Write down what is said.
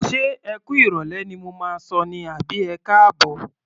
Ṣé ẹ kú ìrọ̀lẹ́ ni mo máa sọ ní àbí ẹkáàbọ̀?